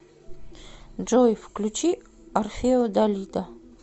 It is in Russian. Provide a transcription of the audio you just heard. джой включи орфео далида